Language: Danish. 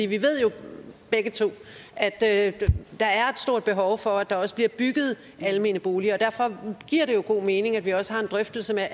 vi ved jo begge to at der er et stort behov for at der også bliver bygget almene boliger derfor giver det jo god mening at vi også har en drøftelse